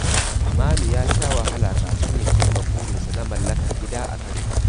Manu ya sha wahala kafin ya cimma burinsa na mallakar gida a Kano.